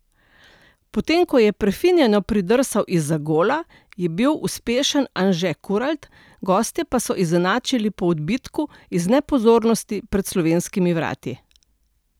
Potem ko je prefinjeno pridrsal izza gola, je bil uspešen Anže Kuralt, gostje pa so izenačili po odbitku iz nepozornosti pred slovenskimi vrati.